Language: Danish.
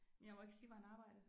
Jeg må ikke sige hvor han arbejder